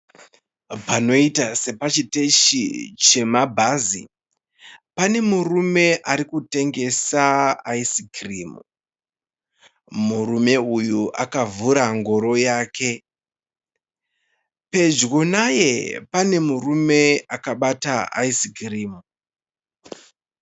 Panoita sepachiteshi chemabhazi. Pane murume arikutengesa aisikirimu. Murume uyu akavhura ngoro yake. Pedyo naye pane murume akabata aisikirimu.